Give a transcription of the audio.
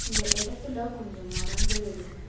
இந்த இடத்துல கொஞ்சம் மரங்கள் இருக்கு.